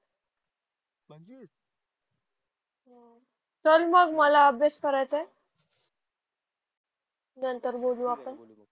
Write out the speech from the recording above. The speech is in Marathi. चल मग मला अभ्यास करायचाय. नंतर बोलू आपण.